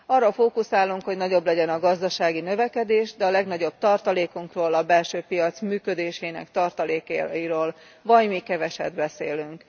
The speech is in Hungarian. Arra fókuszálunk, hogy nagyobb legyen a gazdasági növekedés, de a legnagyobb tartalékunkról a belső piac működésének tartalékairól vajmi keveset beszélünk.